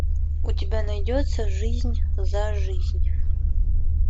у тебя найдется жизнь за жизнь